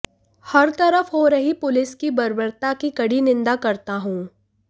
हर तरफ हो रही पुलिस की बर्बता की कड़ी निंदा करता हूं